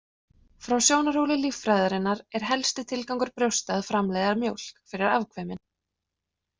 Frá sjónarhóli líffræðinnar er helsti tilgangur brjósta að framleiða mjólk fyrir afkvæmin.